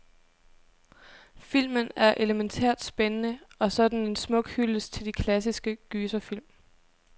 Filmen er elemæntært spændende, og så er den en smuk hyldest til de klassiske gyserfilm.